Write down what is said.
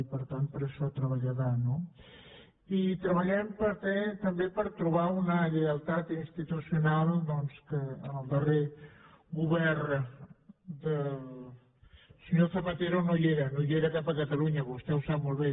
i per tant per a això treballarà no i treballarem també per trobar una lleialtat institucional doncs que en el darrer govern del senyor zapatero no hi era no hi era cap a catalunya vostè ho sap molt bé